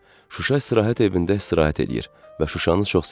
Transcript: Şuşa istirahət evində istirahət eləyir və Şuşanı çox sevir.